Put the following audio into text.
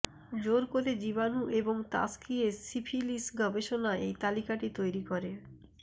জোর করে জীবাণু এবং তাসকিয়ে সিফিলিস গবেষণা এই তালিকাটি তৈরি করে